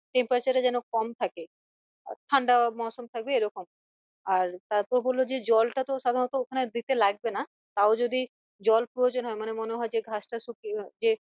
Temparature এ যেন কম থাকে ঠান্ডা মৌসম থাকবে এরকম আর তারপর বললো যে জল টাতো সাধারণত ওখানে দিতে লাগবে না তাও যদি জল প্রয়োজন হয় মানে মনে হয় যে ঘাস টা শুকিয়ে যে